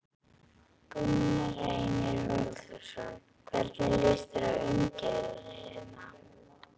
Gunnar Reynir Valþórsson: Hvernig líst þér á umgjörðina hérna?